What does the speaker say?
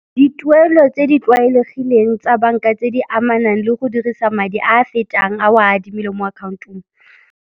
Dituelo tse di tlwaelegileng tsa banka tse di amanang le go dirisa madi a a fetang a o a adimileng mo account-ong.